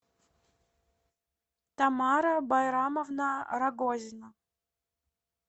тамара байрамовна рогозина